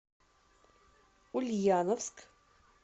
ульяновск